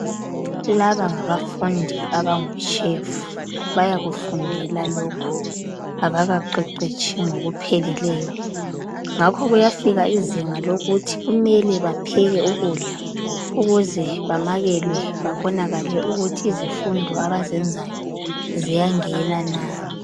Laba ngabafundi abango "chef" bayakufundela lokhu abakaqeqetshi ngokupheleleyo ngakho kuyafika izinga lokuthi kumele bapheke ukudla ukuze bamakelwe babonakale ukuthi izifundo abazenzayo ziyangena na.